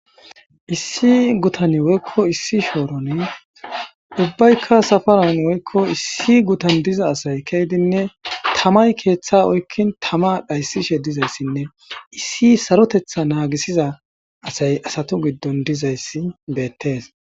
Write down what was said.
Issi guthani woykko issi shooroni ubbaykka safaran woykko issi guthan diza asay keydinne tamay keeththaa oykkin tamaa dhayssishe dizayssinne issi sarotheththaa naagisiza asay asathu giddon dizayssi beetthees.